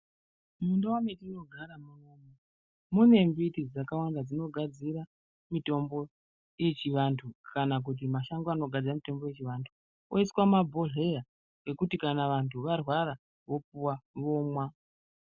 Mundau metinogara munomu mune mbiti dzakawanda dzinogadzira mitombo yechivanthu kana kuti mashango anogadzira mitombo yechivanthu ,oiswa mumabhodhleya ekuti kana vanthu varwara vopuwa vomwa.